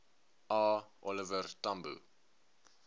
a oliver tambo